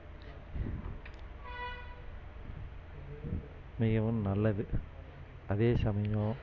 மிகவும் நல்லது அதே சமயம்